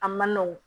A man nɔgɔn